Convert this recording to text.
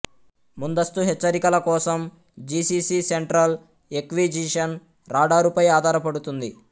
ముందస్తు హెచ్చరికల కోసం జిసిసి సెంట్రల్ ఎక్విజిషన్ రాడారుపై ఆధారపడుతుంది